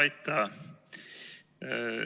Aitäh!